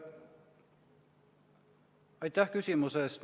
Aitäh küsimuse eest!